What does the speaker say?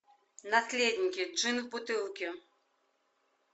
наследники джин в бутылке